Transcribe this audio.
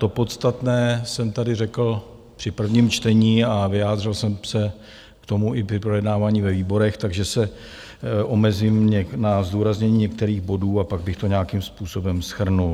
To podstatné jsem tady řekl při prvním čtení a vyjádřil jsem se k tomu i při projednávání ve výborech, takže se omezím na zdůraznění některých bodů a pak bych to nějakým způsobem shrnul.